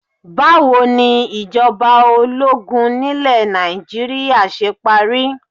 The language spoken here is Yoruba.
Báwo ni ìjọba ológun nílé Nàìjíríà ṣe parí?